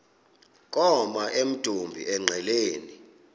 koma emdumbi engqeleni